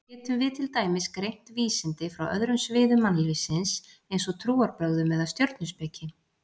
Getum við til dæmis greint vísindi frá öðrum sviðum mannlífsins eins og trúarbrögðum eða stjörnuspeki?